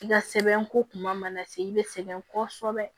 I ka sɛbɛn ko kuma mana se i bɛ sɛgɛn kosɛbɛ